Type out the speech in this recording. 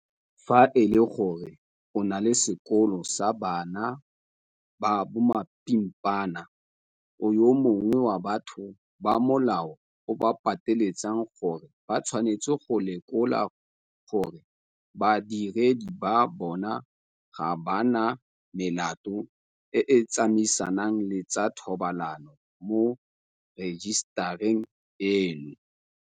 Fa e le gore o na le sekolo sa bana ba mapimpana, o yo mongwe wa batho ba molao o ba pateletsang gore ba tshwanetse go lekola gore badiredi ba bona ga ba na melato e e tsamaisanang le tsa thobalano mo rejisetareng eno.